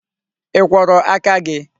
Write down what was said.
I kworo aka gi?